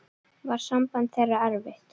Var samband þeirra erfitt.